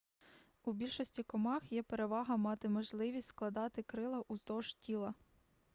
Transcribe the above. у більшості комах є перевага мати можливість складати крила уздовж тіла